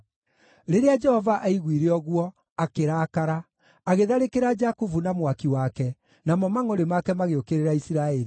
Rĩrĩa Jehova aiguire ũguo, akĩrakara; agĩtharĩkĩra Jakubu na mwaki wake, namo mangʼũrĩ make magĩũkĩrĩra Isiraeli,